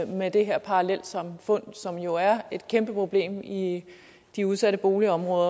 med det her parallelsamfund som jo er et kæmpe problem i i de udsatte boligområder